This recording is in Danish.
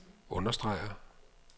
understreger